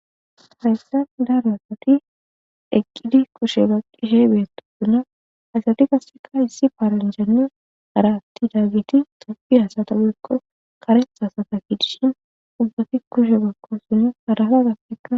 haresen daaro hasati eqqidi kushe baqishe beetotuna asati kasseka issi paaranjani haratti daagiti tapi hasata bekko karehasata kiidishin ubbafi kushe bakko suni harafa gakkekka